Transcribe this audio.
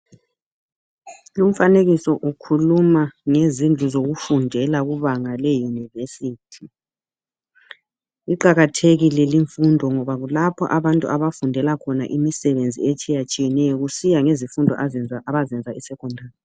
Umfanekiso ukhuluma ngezindlu zokufundela kubanga leYunivesithi. Iqakathekile limfundo ngoba kulapha abantu abafundela khona imisebenzi etshiyetshiyeneyo kusiya ngezifundo abazenza e secondary.